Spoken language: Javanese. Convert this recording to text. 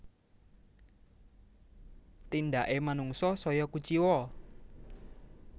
Tindake manungsa saya kuciwa